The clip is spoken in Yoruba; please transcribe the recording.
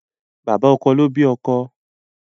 Bàbá ọkọ ló bí ọkọ